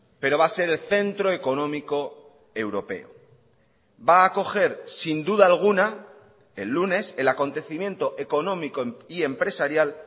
pero va a ser el centro económico europeo va a acoger sin duda alguna el lunes el acontecimiento económico y empresarial